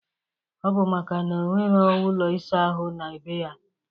Ọ bụ maka na o nwero ụlọ ịsa ahụ na be ya.